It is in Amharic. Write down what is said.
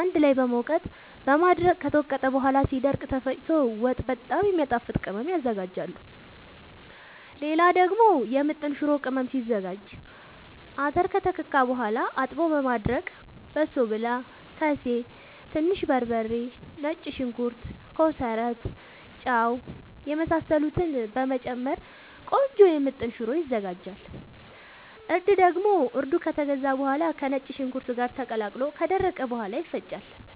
አንድ ላይ በመውቀጥ በማድረቅ ከተወቀጠ በኋላ ሲደርቅ ተፈጭቶ ወጥ በጣም የሚያጣፋጥ ቅመም ያዝጋጃሉ። ሌላ ደግሞ የምጥን ሽሮ ቅመም ሲዘጋጅ :- አተር ከተከካ በኋላ አጥቦ በማድረቅ በሶብላ፣ ከሴ፣ ትንሽ በርበሬ፣ ነጭ ሽንኩርት፣ ኮሰረት፣ ጫው የመሳሰሉትን በመጨመር ቆንጆ ምጥን ሽሮ ይዘጋጃል። እርድ ደግሞ እርዱ ከተገዛ በኋላ ከነጭ ሽንኩርት ጋር ተቀላቅሎ ከደረቀ በኋላ ይፈጫል።